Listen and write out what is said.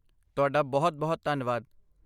ਤੁਹਾਡਾ ਬਹੁਤ ਬਹੁਤ ਧੰਨਵਾਦ!